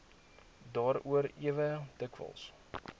daaroor ewe dikwels